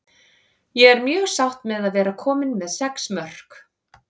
Ég er mjög sátt með að vera komin með sex mörk.